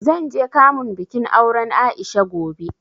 Zan je kamun bikin auren A'isha gobe.